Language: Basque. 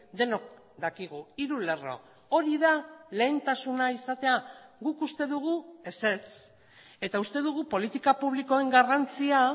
denok dakigu hiru lerro hori da lehentasuna izatea guk uste dugu ezetz eta uste dugu politika publikoen garrantzia